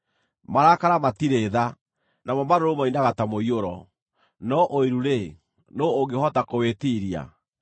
Marakara matirĩ tha, namo marũrũ moinaga ta mũiyũro; no ũiru-rĩ, nũũ ũngĩhota kũwĩtiiria?